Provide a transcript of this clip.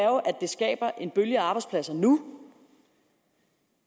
det skaber en bølge af arbejdspladser nu